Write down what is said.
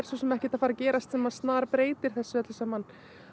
ekkert að fara að gerast sem að snarbreytir þessu öllu saman